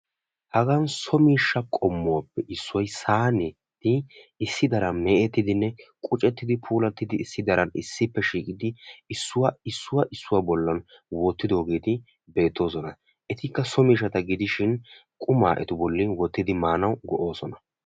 Hagan so miishsha qommuwaappe issoy sayneti issi daran mecettiidinne qucettidi issi daran issippe shiiqqidi issuwaa issuwaa bollan wottidogeti beettoosona. etikka so miishshata gidishin qumaa etu bolli wottidi maanawu go"oosona.